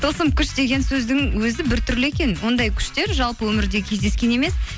тылсым күш деген сөздің өзі біртүрлі екен ондай күштер жалпы өмірде кездескен емес